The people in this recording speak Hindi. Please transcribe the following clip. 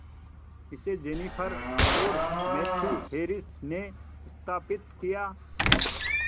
इसे जेनिफर और मैथ्यू हैरिस ने स्थापित किया